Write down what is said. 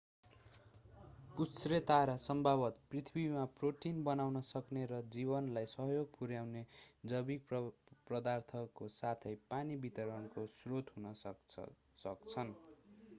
पुच्छ्रेतारा सम्भवतः पृथ्वीमा प्रोटिन बनाउन सक्ने र जीवनलाई सहयोग पुर्‍याउने जैविक पदार्थको साथै पानी वितरणको स्रोत हुन सक्छन्।